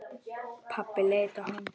Pabbi leit á hann.